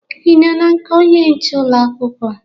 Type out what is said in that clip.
Ị nọ na nke onye nche ụlọ akwụkwọ?